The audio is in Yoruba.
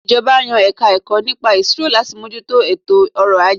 Ìjọba yan Ẹ̀ka-ẹ̀kọ́ nípa Ìṣirò láti mójú tó ètò ọrọ̀ - ajé